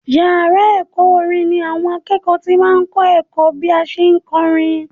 Yàrá ẹ̀kọ́ orin ni àwọn akẹ́kọ̀ọ́ ti máa ń kọ́ ẹ̀kọ́ bí a ṣe ń kọrin